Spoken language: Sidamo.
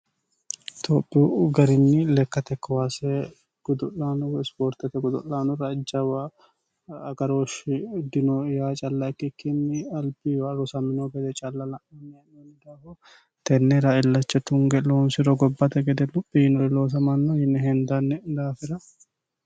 tophiyu garini lekkate kowaase gudo'laano woy ispoortete godo'laanora jawu agarooshshi dino yaa calla ikkikkinni albiwa rosammino gede calla la'neemo daafo tennera illacha tunge loonsiro gobbate gede luphi yiinori loosamanno yinne hendanni daafira